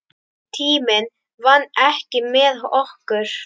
Tíminn vann ekki með okkur.